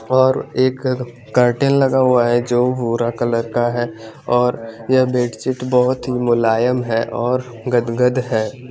और एक करटेन लगा हुआ है जो भूरा कलर का है और ये बेडशीट बहत मोलायम है और गदगद है।